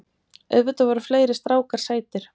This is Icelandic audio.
Auðvitað voru fleiri strákar sætir.